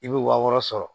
I bɛ wa wɔɔrɔ sɔrɔ